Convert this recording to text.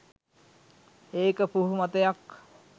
ඒක පුහු මතයක්.